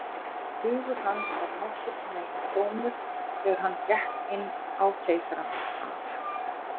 Hugur hans var nokkurn veginn tómur, þegar hann gekk inn á Keisarann af